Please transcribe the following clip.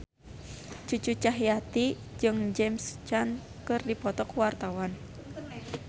Cucu Cahyati jeung James Caan keur dipoto ku wartawan